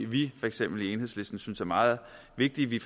vi for eksempel i enhedslisten synes er meget vigtigt vi